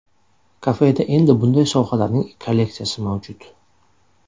Kafeda endi bunday sovg‘alarning kolleksiyasi mavjud.